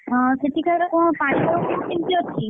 ହଁ ସେଠିକାର କଣ ପାଣିପାଗ ଏବେ କେମିତି ଅଛି?